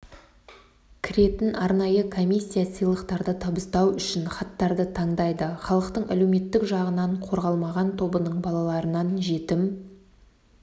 кіретін арнайы комиссия сыйлықтарды табыстау үшін хаттарды таңдайды халықтың әлеуметтік жағынан қорғалмаған тобының балаларынан жетім